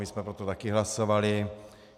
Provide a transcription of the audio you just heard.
My jsme pro to také hlasovali.